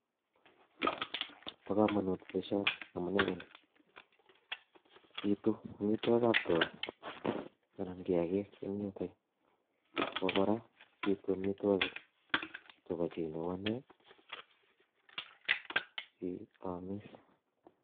Bo kamanut boisioni amune ko ni, bitu amitwokikab tuga anan kiyakik eng yutok yu ako kora bitu amitwokik chebo chi neu ane siaamis.